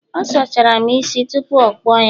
ọ sachara'm isi tupu o kpuo ya